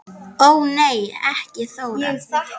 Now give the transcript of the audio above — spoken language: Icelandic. Ó nei ekki Þóra